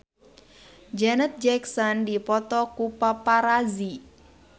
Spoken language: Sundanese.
Janet Jackson dipoto ku paparazi